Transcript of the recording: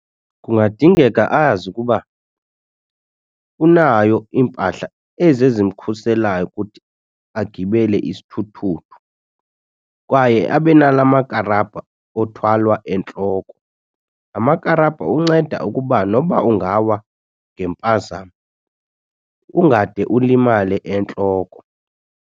Kungadingeka azi ukuba unayo iimpahla ezi ezimkhuselayo ukuthi agibele isithuthuthu. Kwaye abe nalaa makarabha othwalwa entloko. Laa makarabha unceda ukuba noba ungawa ngempazamo ungade ulimale entloko.